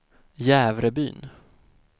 Jävrebyn